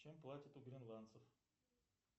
чем платят у гренландцев